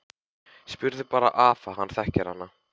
Spurðu bara afa, hann þekkir hana!